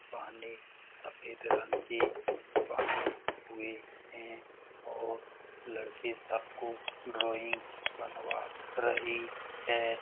हुई है और लड़की सब को ड्राइंग बनवा रही है।